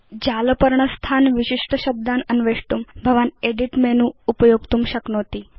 जालपर्णस्थान् विशिष्ट शब्दान् अन्वेष्टुं भवान् एदित् मेनु उपयोक्तुं शक्नोति